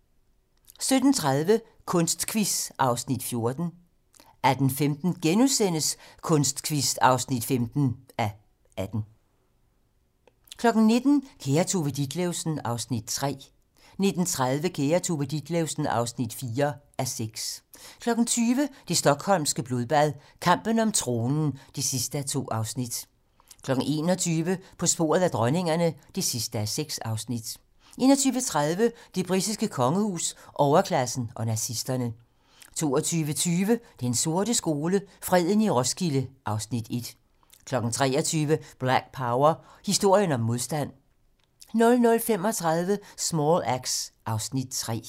17:30: Kunstquiz (14:18) 18:15: Kunstquiz (15:18)* 19:00: Kære Tove Ditlevsen (3:6) 19:30: Kære Tove Ditlevsen (4:6) 20:00: Det stockholmske blodbad - kampen om tronen (2:2) 21:00: På sporet af dronningerne (6:6) 21:30: Det britiske kongehus, overklassen og nazisterne 22:20: Den sorte skole: Freden i Roskilde (Afs. 1) 23:00: Black Power: Historien om modstand 00:35: Small Axe (Afs. 3)